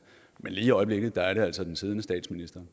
men lige i øjeblikket er det altså den siddende statsminister